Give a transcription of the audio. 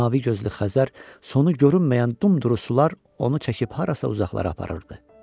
Mavi gözlü Xəzər sonu görünməyən dumduru sular onu çəkib harasa uzaqlara aparırdı.